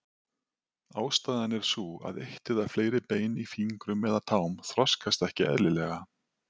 Ástæðan er sú að eitt eða fleiri bein í fingrum eða tám þroskast ekki eðlilega.